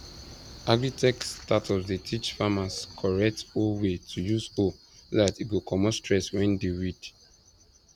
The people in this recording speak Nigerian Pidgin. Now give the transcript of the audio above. agritech startups dey teach farmers correct hoe way to use hoe so that e go comot stress when dey weed